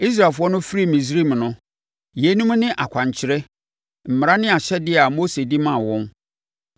Israelfoɔ no firii Misraim no, yeinom ne akwankyerɛ, mmara ne ahyɛdeɛ a Mose de maa wɔn